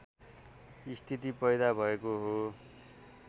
स्थिति पैदा भएको हो